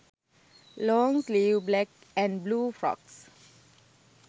long sleeve black & blue frocks